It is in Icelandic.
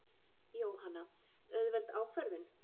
Jóhanna: Auðveld ákvörðun?